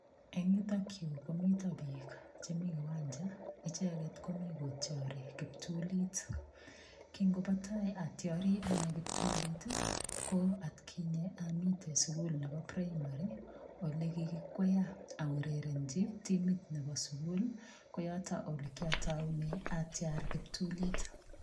Eng yutok yu komito biik chemi kiwanja. Icheget komi kotiari kiptulit. Kingobo tai atiari anne kiptulit, ko atkinye amite sugul nebo piraimari ole kikikwaya aurerenchi timit nebo sugul ko yoto elekiataune atiar kiptulit.